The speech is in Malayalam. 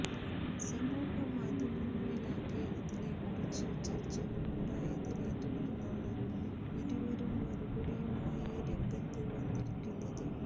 സമൂഹ മാധ്യമങ്ങളിലാകെ ഇതിനെക്കുറിച്ച് ചര്ച്ചകളുണ്ടായതിനെ തുടര്ന്നാണ് ഇരുവരും മറുപടിയുമായി രംഗത്ത് വന്നിരിക്കുന്നത്